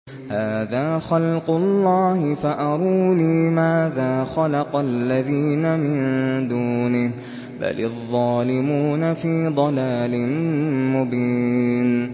هَٰذَا خَلْقُ اللَّهِ فَأَرُونِي مَاذَا خَلَقَ الَّذِينَ مِن دُونِهِ ۚ بَلِ الظَّالِمُونَ فِي ضَلَالٍ مُّبِينٍ